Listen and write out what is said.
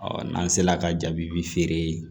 n'an sera ka jaabi bi feere